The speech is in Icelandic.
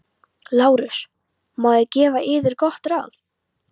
LÁRUS: Má ég gefa yður gott ráð?